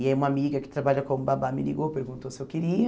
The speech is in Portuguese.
E aí uma amiga que trabalha com o babá me ligou, perguntou se eu queria.